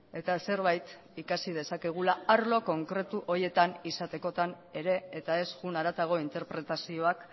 eta zerbait ikasi dezakegula arlo konkretu horietan izatekotan ere eta ez joan haratago interpretazioak